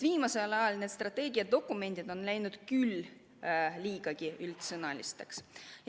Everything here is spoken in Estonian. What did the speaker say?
Viimasel ajal on strateegiadokumendid läinud küll liigagi üldsõnaliseks.